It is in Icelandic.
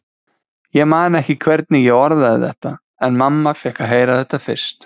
Ég man ekki hvernig ég orðaði þetta, en mamma fékk að heyra þetta fyrst.